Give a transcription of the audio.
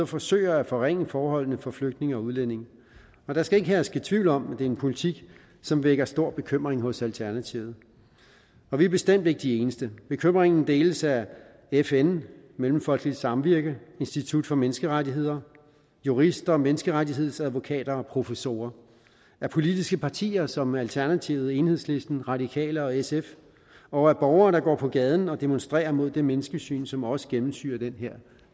forsøger at forringe forholdene for flygtninge og udlændinge der skal ikke herske tvivl om at det er en politik som vækker stor bekymring hos alternativet og vi er bestemt ikke de eneste bekymringen deles af fn mellemfolkeligt samvirke institut for menneskerettigheder jurister menneskerettighedsadvokater og professorer af politiske partier som alternativet enhedslisten radikale og sf og af borgere der går på gaden og demonstrerer mod det menneskesyn som også gennemsyrer det her